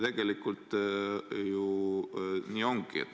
Tegelikult ju nii ongi.